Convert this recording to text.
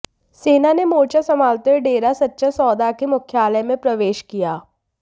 सेना ने मोर्चा संभालते हुए डेरा सच्चा सौदा के मुख्यालय में प्रवेश किया